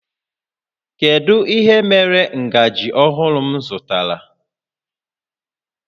Kedu ihe mere ngaji ọhụrụ m zụtara?